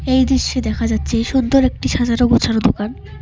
এই দৃশ্যে দেখা যাচ্ছে সুন্দর একটি সাজানো গোছানো দোকান।